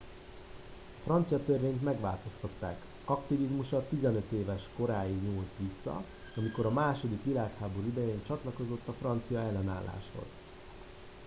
a francia törvényt megváltoztatták aktivizmusa 15 éves koráig nyúlt vissza amikor a második világháború idején csatlakozott a francia ellenálláshoz